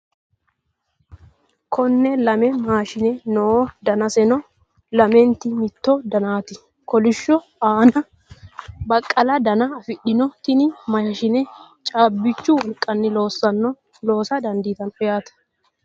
Konne lame maashine no. Danaseno lamenti mitto danaati. Kolisho Anna baqqala dana afidhino. Tini maashine caabbichu wolqayilla loosa dandiitanno yaate.